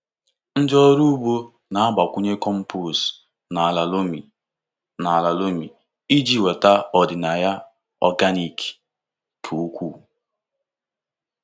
Ndị ọrụ ugbo na-agbakwunye compost n’ala loamy n’ala loamy iji weta ọdịnaya organic ka ukwuu.